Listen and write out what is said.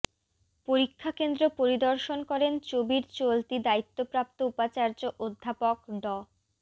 পরীক্ষা কেন্দ্র পরিদর্শন করেন চবির চলতি দায়িত্বপ্রাপ্ত উপাচার্য অধ্যাপক ড